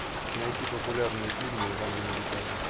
найти популярные фильмы в жанре музыкальный